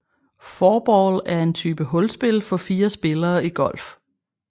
Fourball er en type hulspil for fire spillere i golf